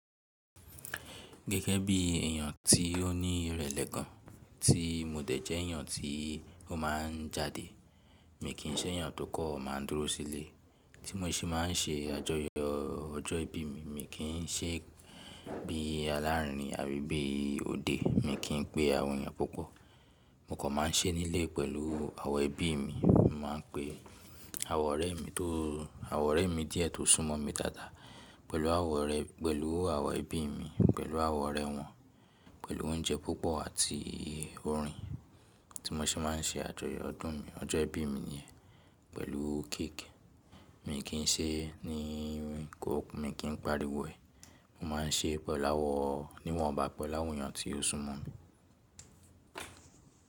Gẹ́gẹ́ bí èèyàn tí ó ní ìrẹ̀lẹ̀ kan, tí mo dẹ̀ jẹ́ èèyàn tí ó máa ń jáde. Mi kì í ṣẹ́ èèyàn tó kọ̀ má a dúró sílé, tí mo ṣe máa ń ṣe àjọyọ̀ ọjọ́ ìbí mi. Mi kì í ṣé bí alárin àbí bí òde. Mi kì í pé àwọn èèyàn púpọ̀. Mo kọ̀ má a ṣé nílé pẹ̀lú àwọn ẹbí mi. Mo máa ń pe àwọn ọ̀rẹ́ mi tó àwọn ọ̀rẹ́ mi díẹ̀ tó sún mọ́ mi dáadáa pẹ̀lú àwọn orẹ̀ pẹ̀lú àwọn ẹbí mi, pẹ̀lú àwọn ọ̀rẹ́ wọn, pẹ̀lú oúnjẹ púpọ̀ àti orin tí mo ṣe máa ń ṣe àjọyọ̀ ọdún mi, ọjọ́ ìbí mi nìyẹn, pẹ̀lú cake. Mi kì í ṣe ní irun kòkú, mi kì í pariwo ẹ̀. Mo má a ń ṣe pẹ̀láwọ̀ ní wọ́n bá pẹ̀láwọn èèyàn tí ó sún mọ́ mi.